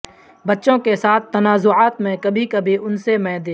بچوں کے ساتھ تنازعات میں کبھی کبھی ان سے میں دے